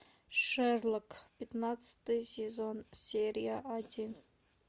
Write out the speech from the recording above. шерлок пятнадцатый сезон серия один